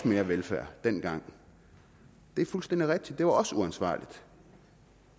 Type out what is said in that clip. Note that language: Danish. mere velfærd dengang det er fuldstændig rigtigt det var også uansvarligt